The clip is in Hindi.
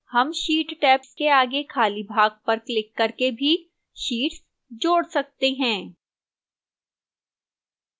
हम sheet tabs के आगे खाली भाग पर क्लिक करके भी sheets जोड़ सकते हैं